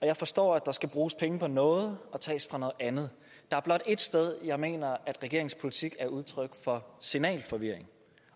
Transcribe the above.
jeg forstår at der skal bruges penge på noget og tages fra noget andet der er blot et sted jeg mener at regeringens politik er udtryk for signalforvirring